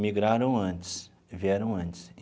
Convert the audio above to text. migraram antes, vieram antes.